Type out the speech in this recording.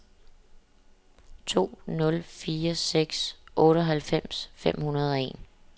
to nul fire seks otteoghalvfems fem hundrede og en